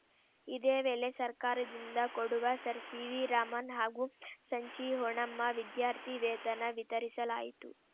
ಇದೇ ವೇಳೆ ಸರ್ಕಾರದಿಂದ ಕೊಡುವ ಸರ್‌ ಸಿವಿರಾಮನ್‌ ಹಾಗೂ ಸಂಚಿ ಹೊನ್ನಮ್ಮ ವಿದ್ಯಾರ್ಥಿ ವೇತನ ವಿತರಿಸಲಾಯಿತು